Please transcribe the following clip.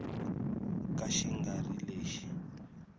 ka xi nga ri lexi